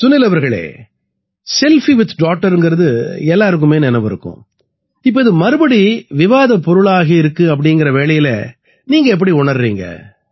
சுனில் அவர்களே selfie with டாட்டர்ங்கறது எல்லாருக்குமே நினைவிருக்கும் இப்ப இது மறுபடி விவாதப் பொருளாயிருக்குங்கற வேளையில நீங்க எப்படி உணர்றீங்க